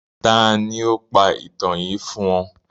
Tani o pa itan yii fun ọ?